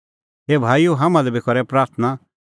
ए भाईओ हाम्हां लै बी करै प्राथणां